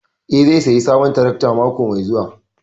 Eh zai sayi sabon tarakta mako mai zuwa.